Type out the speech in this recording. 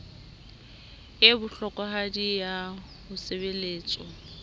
e bohlokwahadi ya ho sebeletswa